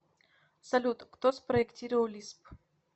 салют кто спроектировал лисп